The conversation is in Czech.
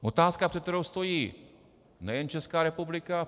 Otázka, před kterou stojí nejen Česká republika.